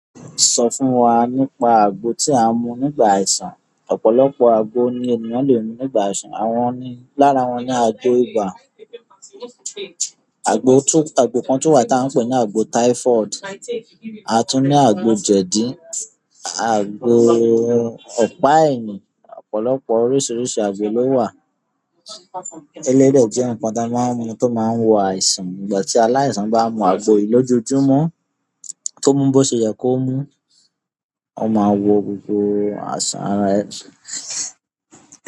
Sọ fún wa nípa àgbo tí à ń mu nígbà àìsàn. Ọ̀pọ̀lọpọ̀ àgbo ni ènìyàn àn le mu nígbà àìsàn. Àwọn ni-- lára wọn ni àgbo ibà, àgbo tún-- àgbo kan tún wà tá ń pè ní àgbo typhoid, a tún ní àgbo jẹ̀dí, àgbo ọ̀pá ẹ̀yìn, ọ̀pọ̀lọpọ̀ oríṣiríṣi àgbo ló wà. Eléyìí dè jẹ́ nǹkan ta ma ń mu tó ma ń wo àìsàn. Ìgbà tí aláìsàn bá mu àgbo yìí lójoojúmọ́, tó mu ú bó ṣe yẹ kó mu ú, ó máa wo gbogbo àìsàn ara ẹ̀.